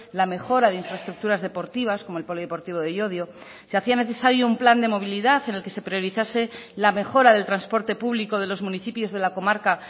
la mejora de infraestructuras deportivas como el polideportivo de llodio se hacía necesario un plan de movilidad en el que se priorizase la mejora del transporte público de los municipios de la comarca